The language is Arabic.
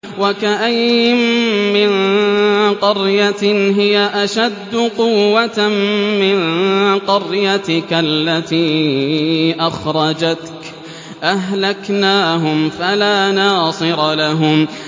وَكَأَيِّن مِّن قَرْيَةٍ هِيَ أَشَدُّ قُوَّةً مِّن قَرْيَتِكَ الَّتِي أَخْرَجَتْكَ أَهْلَكْنَاهُمْ فَلَا نَاصِرَ لَهُمْ